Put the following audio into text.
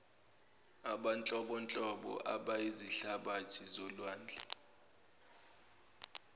abanhlobonhlobo abayizihlabathi zolwandle